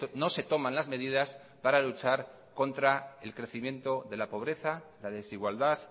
no se toman las medidas para luchar contra el crecimiento de la pobreza la desigualdad